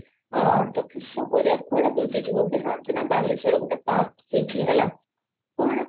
ହଁ ତ କିସ କରିବା କୁଆଡେ ବୁଲି ଯିବୁ ତୁ ଜାଣିଚୁ ବାଲେଶ୍ୱର ରେ ନା ଗୋଟେ park ଖୋଲିଚି ହେଲା କଣ?